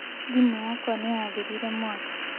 Thimu yakwa nĩ yathirire mwakĩ.